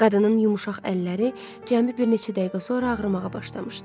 Qadının yumşaq əlləri cəmi bir neçə dəqiqə sonra ağrımağa başlamışdı.